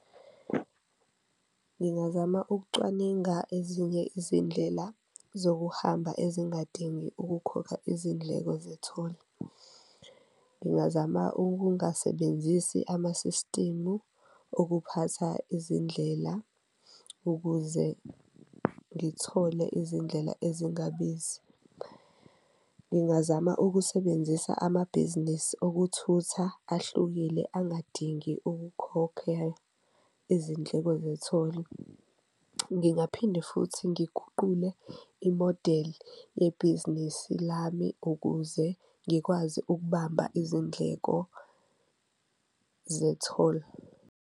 Ngingazama ukucwaninga ezinye izindlela zokuhamba ezingadingi ukukhokha izindleko zetholi, ngingazama ukungasebenzisi amasisitimu okuphatha izindlela ukuze ngithole izindlela ezingabizi. Ngingazama ukusebenzisa amabhizinisi okuthutha ahlukile angadingi ukukhokhelwa izindleko zetholi, ngingaphinde futhi ngiguqule imodeli yebhizinisi lami ukuze ngikwazi ukubamba izindleko zetholi.